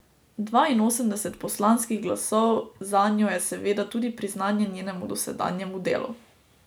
Dvainosemdeset poslanskih glasov zanjo je seveda tudi priznanje njenemu dosedanjemu delu.